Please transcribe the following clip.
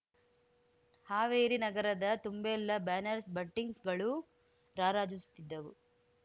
ಹಾವೇರಿ ನಗರದ ತುಂಬೆಲ್ಲ ಬ್ಯಾನರ್ಸ್ ಬಂಟಿಂಗ್ಸ್‌ಗಳು ರಾರಾಜಿಸುತ್ತಿದ್ದವು